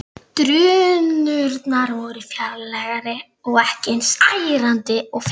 Geir var mjög laumulegur þegar hann opnaði dyrnar.